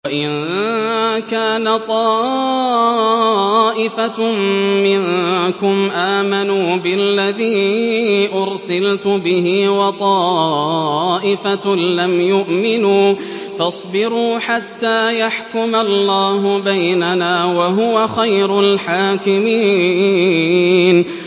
وَإِن كَانَ طَائِفَةٌ مِّنكُمْ آمَنُوا بِالَّذِي أُرْسِلْتُ بِهِ وَطَائِفَةٌ لَّمْ يُؤْمِنُوا فَاصْبِرُوا حَتَّىٰ يَحْكُمَ اللَّهُ بَيْنَنَا ۚ وَهُوَ خَيْرُ الْحَاكِمِينَ